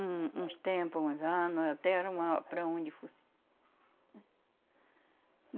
Um... Uns tempos, uns anos, até era uma, para onde fosse.